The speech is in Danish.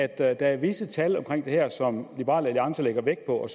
at der er visse tal som liberal alliance lægger vægt på og at